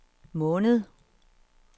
måned